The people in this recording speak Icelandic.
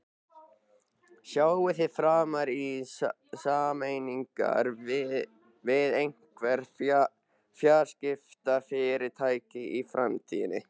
Sjáið þið fram á sameiningar við einhver fjarskiptafyrirtæki í framtíðinni?